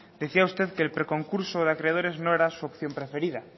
decía usted que el preconcurso de acreedores no era su opción preferida